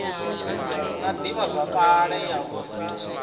na ḓivhazwakale ya u sa